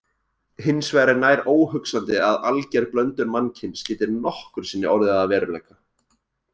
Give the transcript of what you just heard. Hins vegar er nær óhugsandi að alger blöndun mannkyns geti nokkru sinni orðið að veruleika.